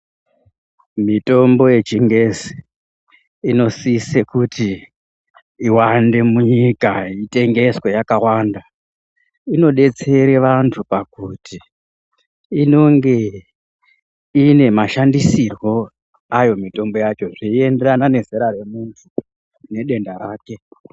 Mitombo yechingezi inosise kuti iwanda munyika itengeswe yakawanda. Inodetsera vantu pakuti inonge ine mashandisirwo ayo mitombo yacho zveienderana nezera remuntu nedenda rake.